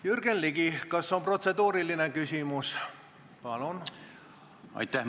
Jürgen Ligi, kas on protseduuriline küsimus?